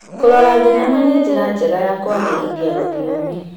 Kũrora thenema nĩ njĩra njega ya kũagĩrithia rũthiomi.